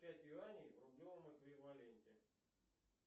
пять юаней в рублевом эквиваленте